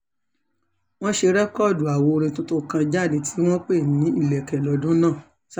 wọ́n ṣe rẹ́kọ́ọ̀dù àwo orin tuntun kan jáde tí wọ́n pè ní ìlẹ̀kẹ̀ lọ́dún náà